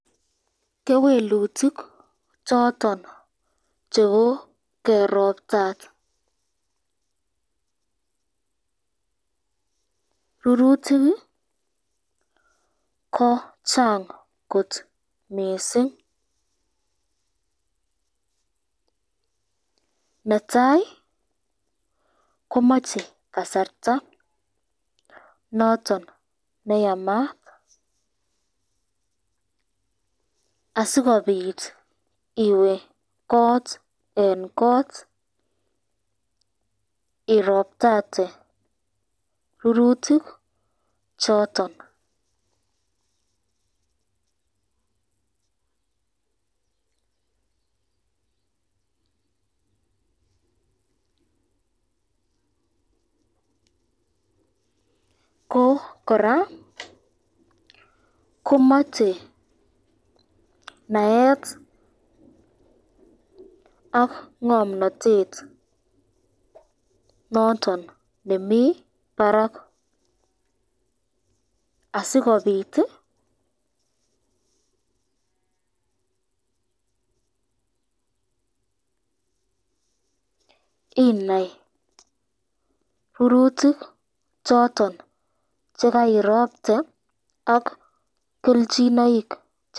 Kewelutik choton chebo keroptat rurutik ko Chang kot mising, netai komache kasarta koyache noton neyamat asikobit iwe kot eng kot iroptate rurutik choton, ko koraa komache naet ak ngomnatet noton nemi barak asikobit inai rurutik choton chekairopte ak kelchinoik.